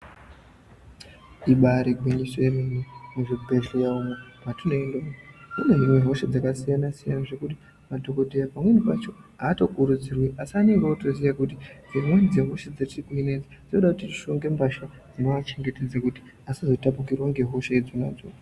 Ibari gwinyiso yemene muzvibhedhleya umo petinoende kunohinwe hosha dzakasiyana siyana zvekuti madhokodheya pamweni pacho aatokurudzirwi asi anonge otoziya kuti dzimweni dzehosha dzetinohina dzotode tishonge mbatya dzinoachengetedze kuti asazotapukirwa ngehosha dzonadzo.